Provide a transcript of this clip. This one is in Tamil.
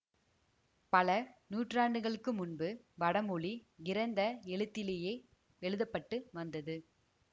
பல நூற்றாண்டுகளுக்கு முன்பு வடமொழி கிரந்த எழுத்திலேயே எழுத பட்டு வந்தது